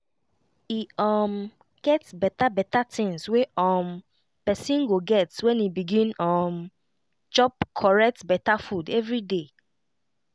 e um get beta beta tinz wey um pesin go get when e begin um chop correct beta food everyday